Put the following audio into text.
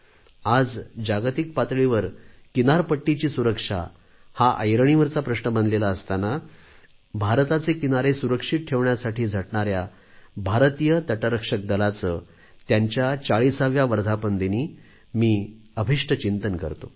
आज जागतिक पातळीवर किनारपट्टीची सुरक्षा हा ऐरणीवरचा प्रश्न बनलेला असताना भारताचे किनारे सुरक्षित ठेवण्यासाठी झटणाऱ्या भारतीय तटरक्षक दलाचे त्यांच्या 40 व्या वर्धापनदिनी मी अभिष्टचिंतन करतो